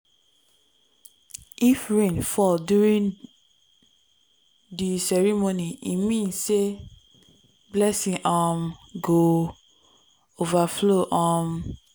if rain fall during di ceremony e mean say blessings um go overflow. um